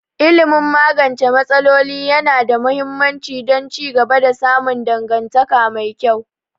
Ilimin magance matsaloli yana da muhimmanci don ci gaba da samun dangantaka mai kyau